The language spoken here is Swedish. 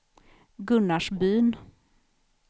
Gunnarsbyn